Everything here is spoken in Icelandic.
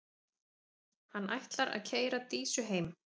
Hann ætlar að keyra Dísu heim.